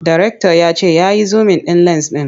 Darekta ya ce ya yi zumin ɗin lens ɗin.